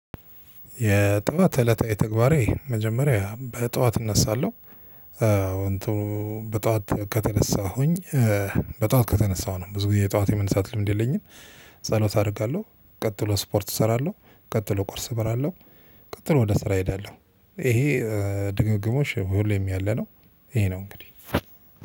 የጠዋት እለታዊ ተግባሬ መጀመሪያ በጠዋት እነሳለሁ። እንትኑ በጠዋት ከተነሳሁኝ በጧት ከተነሳሁ ነው ብዙ ጊዜ የጧት የመነሳት ልምድ የለኝም። ጸሎት አረጋለሁ ቀጥሎ እስፖርት እስራለሁ ቀጥሎ ቁርስ እበላለሁ ቀጥሎ ወደ ስራ እሄዳለው። ይሄ ድግግሞሽ ሁሌም ያለ ነው። ይሄ ነው እንግዲህ